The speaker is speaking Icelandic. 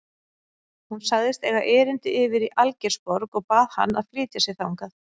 Hún sagðist eiga erindi yfir í Algeirsborg og bað hann að flytja sig þangað.